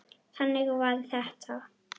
Þannig var þetta!